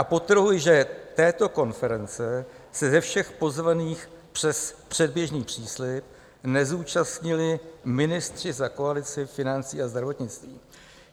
A podtrhuji, že této konference se ze všech pozvaných přes předběžný příslib nezúčastnili ministři za koalici - financí a zdravotnictví.